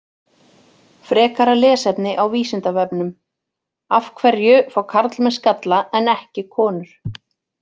Frekara lesefni á Vísindavefnum: Af hverju fá karlmenn skalla en ekki konur?